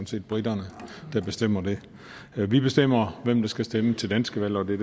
set briterne der bestemmer det vi bestemmer hvem der skal stemme til danske valg og det